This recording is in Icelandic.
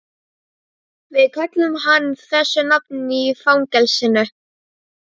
Við kölluðum hann þessu nafni í fangelsinu